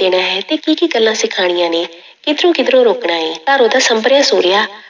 ਦੇਣਾ ਹੈ ਤੇ ਕੀ ਕੀ ਗੱਲਾਂ ਸਿਖਾਉਣੀਆਂ ਨੇ, ਕਿੱਧਰੋਂ ਕਿੱਧਰੋਂ ਰੋਕਣਾ ਹੈ, ਘਰ ਉਹਦਾ ਸੰਭਰਿਆ ਸੂਰਿਆ